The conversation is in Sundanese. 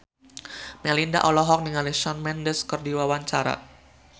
Melinda olohok ningali Shawn Mendes keur diwawancara